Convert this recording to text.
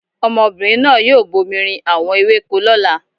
Ọmọbìnrin náà yóò bomi rin àwọn ewéko lọ́la.